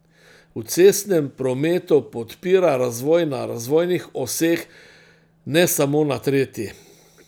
V cestnem prometu podpira razvoj na razvojnih oseh, ne samo na tretji.